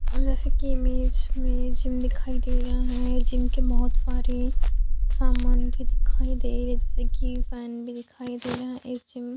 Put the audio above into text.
और जैसे की इमेज इमेज मे जिम दिखाई दे रहा है जिम के बोहत सारे सामान भी दिखाई दे रहा है जैसे की फैन भी दिखाई ये जिम --